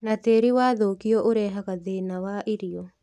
Na tĩĩri wathũkio ũrehaga thĩna wa irio